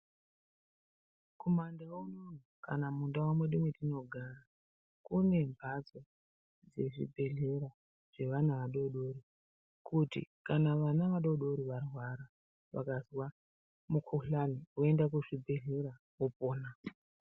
Kumandau unono kana mundau mwedu mwatinogara kune mbatso yezvibhedhlera yeana adodori kuti kana vana vadodori varwara vakazwa mukuhlani voende kuzvibhedhlera vopona.